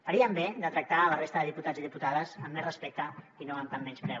farien bé de tractar la resta de diputats i diputades amb més respecte i no amb tant menyspreu